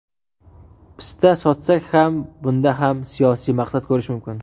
pista sotsak ham bunda ham siyosiy maqsad ko‘rish mumkin.